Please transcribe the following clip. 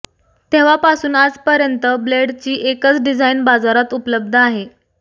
तेव्हापासून आज पर्यंत ब्लेडची एकच डिझाईन बाजारात उपलब्ध आहे